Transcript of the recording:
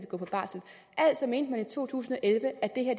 går på barsel altså mente man i to tusind og elleve at det her